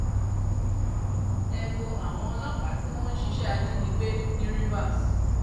ẹ wo àwọn ọlọ́pàá tí wọ́n ń ṣiṣẹ́ ajínigbé ní rivers